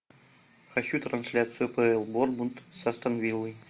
хочу трансляцию апл борнмут с астон виллой